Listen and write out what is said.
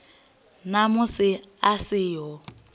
na musi a si ho